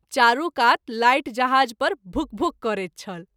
चारू कात लाइट जहाज़ पर भूक भूक करैत छल।